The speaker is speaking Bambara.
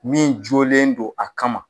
Min jɔlen don a kama.